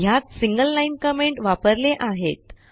ह्यात single line comment वापरले आहेत